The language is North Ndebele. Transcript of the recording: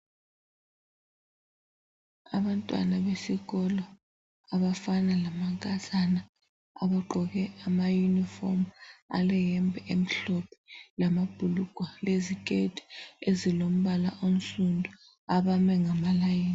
Abantwana besikolo abafana lamankazana, abagqoke amayunifomu, aleyembe emhlophe, lamabhulugwe, leziketi ezilombala onsundu abame ngamalayini.